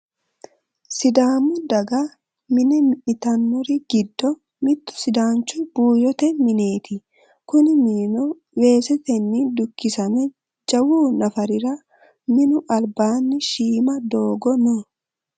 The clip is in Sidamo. sidaamu daga mine mi'nitannori giddo mittu sidaanchu buuyyote mineeti kuni minino weesetenni dukkisame jawu nafarira minu albaanni shiima doogo no